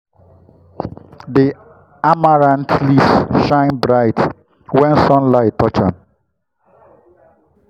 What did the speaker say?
the amaranth leaves shine bright when sunlight touch dem.